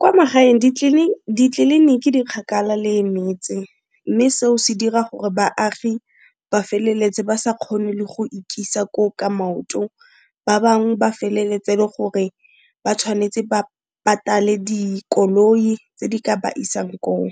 Kwa magaeng ditleliniki di kgakala le metse mme seo se dira gore baagi ba feleletse ba sa kgone le go ikisa ko o ka maoto, ba bang ba feleletse le gore ba tshwanetse ba patale dikoloi tse di ka ba isang ko o.